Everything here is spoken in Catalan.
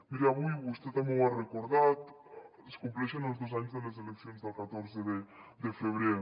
miri avui vostè també ho ha recordat es compleixen els dos anys de les eleccions del catorze de febrer